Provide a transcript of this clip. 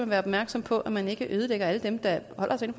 være opmærksom på at man ikke ødelægger alle dem der holder sig